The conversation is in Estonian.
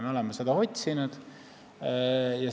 Me oleme seda otsinud.